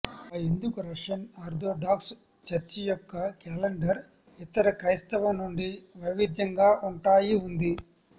ఆ ఎందుకు Russian Orthodox church యొక్క క్యాలెండర్ ఇతర క్రైస్తవ నుండి వైవిధ్యంగా ఉంటాయి ఉంది